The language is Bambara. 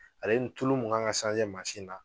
Ale ni tulu min kan ka mansin na.